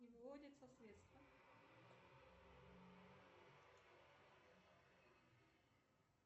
не выводятся средства